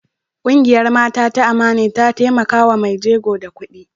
Kungiyar Mata ta Amani ta taimaka wa mai jegon da kudi.